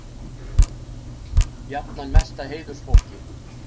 Jafnan mesta heiðursfólki.